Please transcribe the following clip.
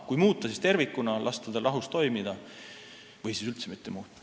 Kui muuta, siis tervikuna, lasta tal rahus toimida, või siis üldse mitte muuta.